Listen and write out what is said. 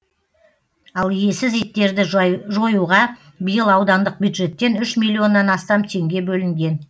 ал иесіз иттерді жоюға биыл аудандық бюджеттен үш миллионнан астам теңге бөлінген